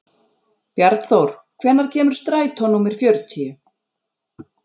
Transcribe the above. Bjarnþór, hvenær kemur strætó númer fjörutíu?